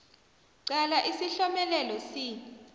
qala isihlomelelo c